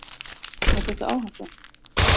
Er þetta áhætta?